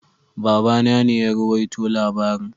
Baba na ne ya ruwaito labaring.